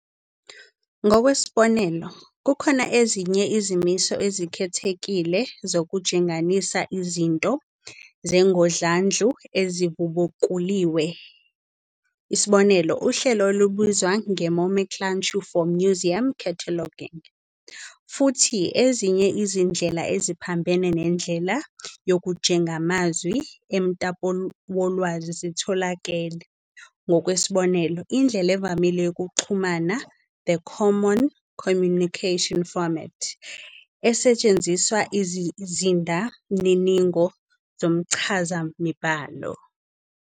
Ngokwesibonelo, kukhona ezinye izimiso ezikhethekile zokujenganisa izinto zengodlandlu ezivubukuliwe, isb. uhlelo olubizwa "Nomenclature for Museum Cataloging". Futhi ezinye izindlela eziphambene nendlela yokujengamazwi emtapowolwazi zitholakele, ngokwesibonelo, indlela evamile yokuxhumana "the common communication format," esetshenziswa izizindamininingo zomchazamibhalo.